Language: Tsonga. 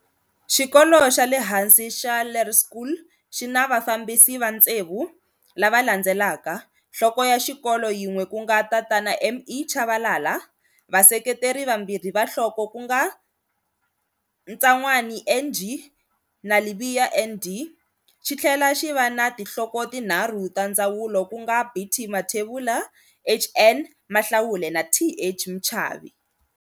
Xikolo xa le hansi xa Laerskool xi na vafambisi va ntsevu, lava landzelaka, nhloko ya xikolo yin'we ku nga Tatana M.E Chavalala, vaseketeri vambirhi va nhloko ku nga Tsanwani N.G na Lebeya N.D xitlhela xi va na tinhloko tinharhu ta ndzawulo ku nga B.T Mathebula, H.N Mahlaule na T.H Mchavi.